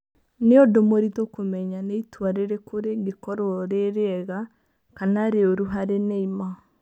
"Nĩ ũndũ mũritũ kũmenya nĩ itua rĩrĩkũ rĩngĩkorũo rĩ rĩega kana rĩũru harĩ Neymar.